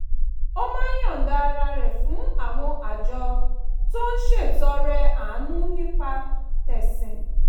ó máa ń yọ̀ǹda ara rẹ̀ fún àwọn àjọ tó ń ṣètọrẹ-àánú nípa tẹ̀sìn